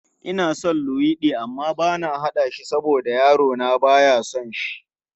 Ina son luwaiɗi amma bana haɗa shi saboda yarona ba ya son shi.